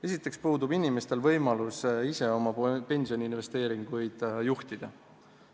Esiteks puudub inimestel võimalus ise oma pensioniinvesteeringuid juhtida.